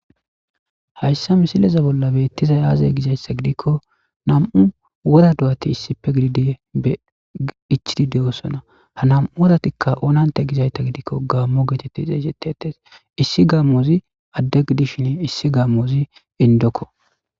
hayssa misileza bolla beettizay aaze gizayssa gidikko nam7u wora duwati issife gididi be ichidi de7osona ha nam7u woratikka oonanta gizayta gidikko gaammo geetetti xeesettetes issi gammoozi addegidishin issi gammoozi indokko